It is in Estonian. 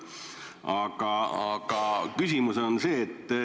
Aga küsimus on selline.